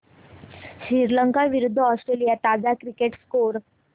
श्रीलंका विरूद्ध ऑस्ट्रेलिया ताजा cricket score